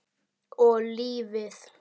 Og lífið.